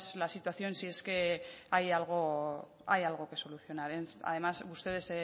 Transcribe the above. la situación si es que hay algo hay algo que solucionar además ustedes